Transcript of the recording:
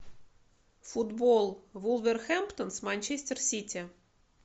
футбол вулверхэмптон с манчестер сити